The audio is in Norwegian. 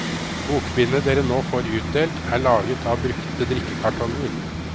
Bokbindet dere nå får utdelt, er laget av brukte drikkekartonger.